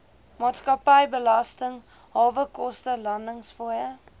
maatskappybelasting hawekoste landingsfooie